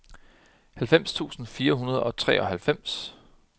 halvfems tusind fire hundrede og treoghalvfems